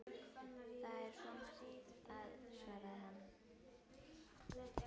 Það er svo margt að- svaraði hann.